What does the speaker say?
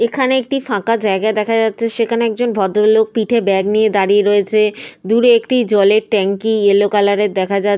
দূরে আরেকজন ভদ্রলোক হোয়াইট কালারের ড্রেস পরে দাঁড়িয়ে রয়েছেন। কিছু গাছপালা দেখা যাচ্ছে।